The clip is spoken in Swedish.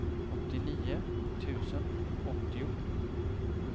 åttionio tusen åttio